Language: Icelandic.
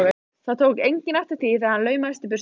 Það tók enginn eftir því þegar hann laumaðist í burtu.